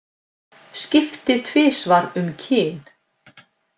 Skipti tvisvar um kyn